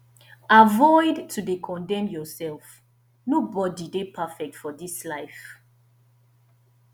avoid to de condemn yourself nobody de perfectfor this life